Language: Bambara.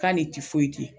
K'ale ti foyi di